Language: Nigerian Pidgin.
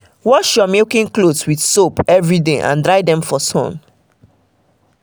wash your milking cloths with soap every day and dry them for sun